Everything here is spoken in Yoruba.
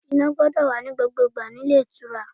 Iná gbọ́dọ̀ wà ní gbogbo ìgbà nílé ìtura.